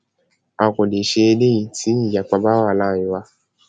a kò lè ṣe eléyìí tí ìyapa bá wà láàrin wa